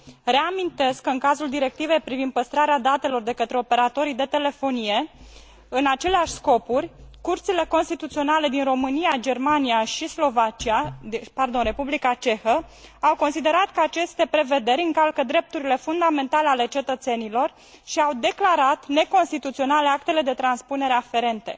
Reamintesc că în cazul Directivei privind păstrarea datelor de către operatorii de telefonie, în aceleași scopuri, Curțile Constituționale din România, Germania și Republica Cehă au considerat că aceste prevederi încalcă drepturile fundamentale ale cetățenilor și au declarat neconstituționale actele de transpunere aferente.